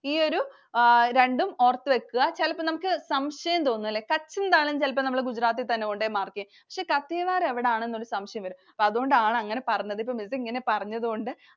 ഈ ഒരു രണ്ടും ഓർത്തുവെക്കുക. ചിലപ്പോൾ നമുക്ക് സംശയം തോന്നും ല്ലേ Kutch എന്തായാലും ചിലപ്പോൾ നമ്മൾ Gujarat ൽ തന്നെ കൊണ്ടുപോയി mark ചെയ്യും. പക്ഷെ Kathiawar എവിടാന്ന് ഒരു സംശയം വരും. അതുകൊണ്ടാണ് അങ്ങനെ പറഞ്ഞത്. ഇപ്പൊ Miss ഇങ്ങനെ പറഞ്ഞതുകൊണ്ട്